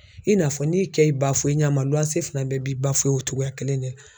I n'a fɔ n'i kɛ i ba ɲa fana bɛɛ b'i o cogoya kelen de la.